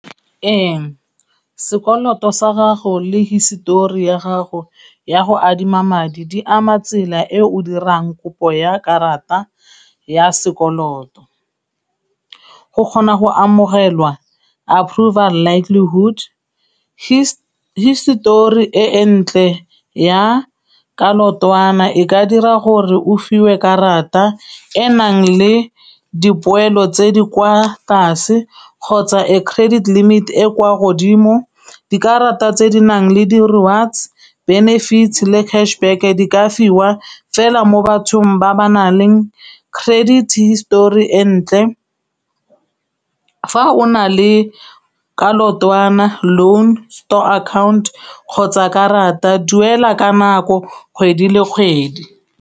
Ee, sekoloto sa gago le hisetori ya gago ya go adima madi di ama tsela e o dirang kopo ya karata ya sekoloto. Go kgona go amogelwa approval likehood, histori e ntle ya ka leotwana e ka dira gore o fiwe karata enang le dipoelo tse di kwa tlase kgotsa e credit limite e kwa godimo. Dikarata tse di nang le di rewards, benefit le cash back di ka fiwa fela mo bathong ba ba nang le credit histori e ntle. Fa o na le ka leotwana, loan story account kgotsa karata duela ka nako kgwedi le kgwedi.